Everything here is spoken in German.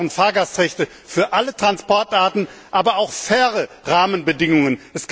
Wir brauchen Fahrgastrechte für alle Transportarten, aber auch faire Rahmenbedingungen.